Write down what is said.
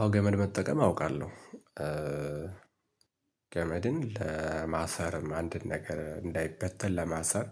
አዎ ገመድ መጠቀም አውቃለሁ። ገመድን ለማሰር አንድን ነገር እንዳይበተን ለማሰር።